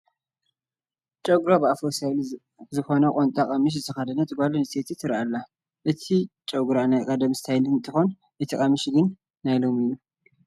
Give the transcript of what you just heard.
ጨጉራ ብኣፍሮ ስታይል ዝኾነት ቁምጣ ቀምሽ ዝተኸደነት ጓል ኣነስተይቲ ትርአ ኣላ፡፡ እቲ ጨጉራ ናይ ቀዳሞት ስታይል እንትኾን እቲ ቀምሽ ግን ናይ ሎሚ እዩ፡፡